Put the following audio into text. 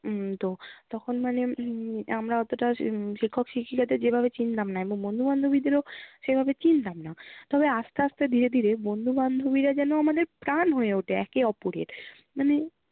উম তো তখন মানে উম আমরা অতটা উম শিক্ষক শিক্ষিকাদের যেভাবে চিনতাম না, বন্ধু বান্ধবীদেরও সেভাবে চিনতাম না। তবে আসতে আসতে ধীরে ধীরে বন্ধু বান্ধবীরা যেন আমাদের প্রাণ হয়ে ওঠে একে অপরের। মানে